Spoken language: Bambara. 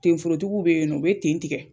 Ten forotigiw bɛ yen u bɛ ten tigɛ.